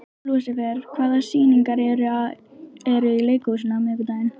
Lúsifer, hvaða sýningar eru í leikhúsinu á miðvikudaginn?